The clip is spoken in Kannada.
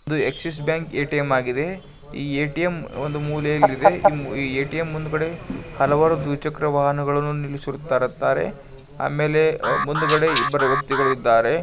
ಇದು ಆಕ್ಸಿಸ್ ಬ್ಯಾಂಕ್ ಎ_ಟಿ_ಎಂ ಆಗಿದೆ ಈ ಒಂದು ಎ_ಟಿ_ಎಂ ಮೂಲೆಯಲ್ಲಿದೆ ಇದರ ಮುಂದೆ ಹಲವಾರು ದ್ವಿಚಕ್ರ ವಾಹನವನ್ನು ನಿಲ್ಲಿಸಿದ್ದಾರೆ ಆಮೇಲೆ ಮುಂದ್ಗಡೆ ಇಬ್ರು ವ್ಯಕ್ತಿಗಳು ಇದ್ದಾರೆ.